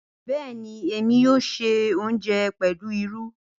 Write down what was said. Bẹẹni, Emi yoo ṣe ounjẹ pẹlu iru.